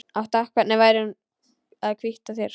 Hvernig væri að hvítta þær?